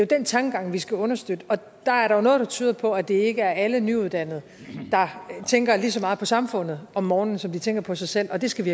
den tankegang vi skal understøtte der er noget der tyder på at det ikke er alle nyuddannede der tænker ligesom meget på samfundet om morgenen som de tænker på sig selv og det skal vi